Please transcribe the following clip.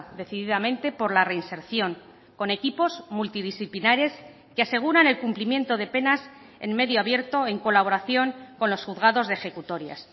decididamente por la reinserción con equipos multidisciplinares que aseguran el cumplimiento de penas en medio abierto en colaboración con los juzgados de ejecutorias